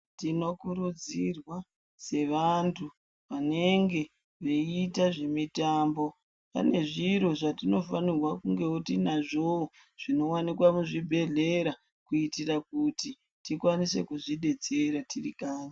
Tinoudzwa sevantu vanenge vaiita zvemutambo pane vantu vanenge vaiita zviro zvatinofanirwa kunge tinazvowo zvinowanikwa muzvibhedhlera kuita kuti tikwanise kuzvidetsera tirikanyi.